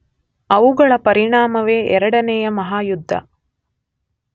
ಅವುಗಳ ಪರಿಣಾಮವೇ ಎರಡನೆಯ ಮಹಾಯುದ್ಧ.